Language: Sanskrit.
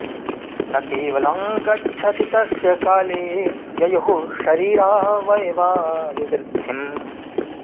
न केवलं गच्छति तस्य काले ययुः शरीरावयवा विवृद्धिं